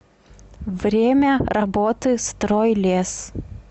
время работы стройлес